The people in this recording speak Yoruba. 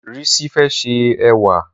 Rísí fẹ́ ṣẹ èwà.